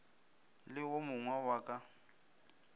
le wo mogwe wa ka